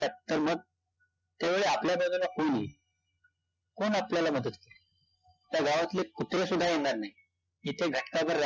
तर मग? त्या वेळी आपल्या बाजूला कोण येईल, कोण आपल्याला मदत, त्या गावातले कुत्रे सुद्धा येणार नाही, जिथे घटकाभर राहण्यात